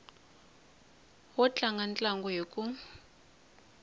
wo tlanga ntlangu hi ku